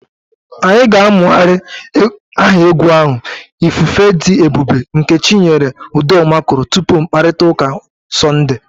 Anyị ga na-amụgharị aha egwu ahụ 'ifufe dị ebube' nke Chinyere Udoma kụrụ tupu mkpakọrịta ụka Sọnde.